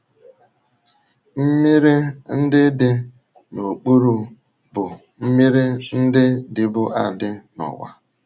Mmiri ndị dị “ n’okpuru ” bụ mmiri ndị dịbu adị n’ụwa.